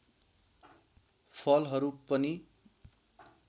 फलहरू पनि